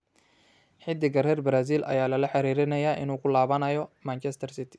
Xiddiga reer Brazil ayaa lala xiriirinayay inuu ku laabanayo Manchester City.